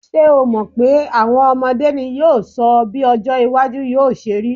Ṣé o mọ̀ pé à̀wọn ọmọdé ní yóò sọ bí ọjọ́-iwájú yóò ṣe rí.